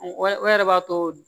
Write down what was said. O yɛrɛ b'a to